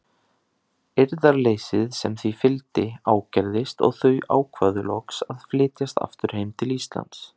Eirðarleysið sem því fylgdi ágerðist og þau ákváðu loks að flytjast aftur heim til Íslands.